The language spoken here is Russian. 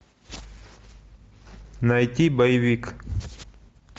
найти боевик